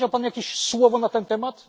Powiedział Pan jakieś słowo na ten temat?